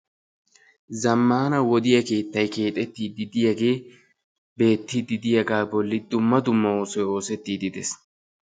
zammana wodiyaa keettay keexxetidi diyaagee beettidi diyaaga bolli dumma dumma oosoy oosetidde des.